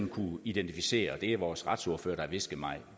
kunnet identificere og det er vores retsordfører har hvisket mig